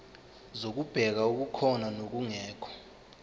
zokubheka okukhona nokungekho